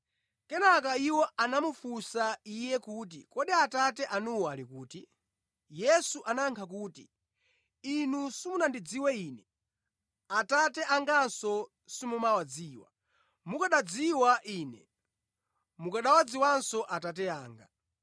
Kenaka iwo anamufunsa Iye kuti, “Kodi Atate anuwo ali kuti?” Yesu anayankha kuti, “Inu simundidziwa Ine. Atate anganso simuwadziwa. Mukanandidziwa Ine, mukanawadziwanso Atate anga.”